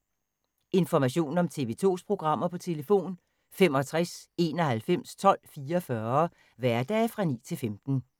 Information om TV 2's programmer: 65 91 12 44, hverdage 9-15.